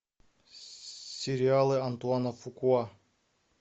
сериалы антуана фукуа